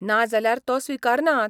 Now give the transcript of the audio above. ना जाल्यार तो स्विकारनात.